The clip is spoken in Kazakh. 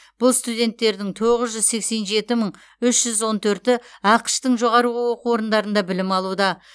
бұл студенттердің тоғыз жүз сексен жеті мың үш жүз он төрті ақш тың жоғарғы оқу орындарында білім алуда